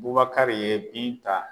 Bubakari ye Binta